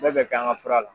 Bɛɛ bɛ kɛ an ka fura la